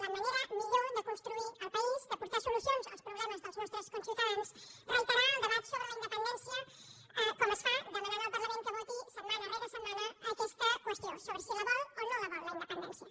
la manera millor de construir el país de portar solucions als problemes dels nostres conciutadans el fet de reiterar el debat sobre la independència com es fa demanant al parlament que voti setmana rere setmana aquesta qüestió sobre si la vol o no la vol la independència